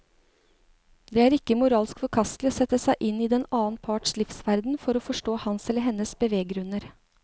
Det er ikke moralsk forkastelig å sette seg inn i den annen parts livsverden for å forstå hans eller hennes beveggrunner.